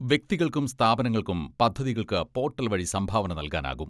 വ്യക്തികൾക്കും സ്ഥാപനങ്ങൾക്കും പദ്ധതികൾക്ക് പോട്ടൽ വഴി സംഭാവന നൽകാനാകും.